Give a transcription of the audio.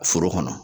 Foro kɔnɔ